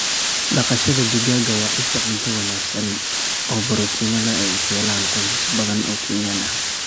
Dhaqashada digaaga waa isha cunto wanaagsan oo borotiinno leh oo ay ka helaan qoysas badan oo Kenyan ah.